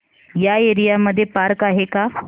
या एरिया मध्ये पार्क आहे का